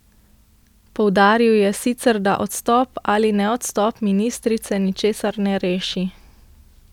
Poudaril je sicer, da odstop ali neodstop ministrice ničesar ne reši.